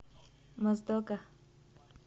моздока